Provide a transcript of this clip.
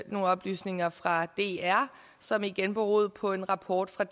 nogle oplysninger fra dr som igen beroede på en rapport fra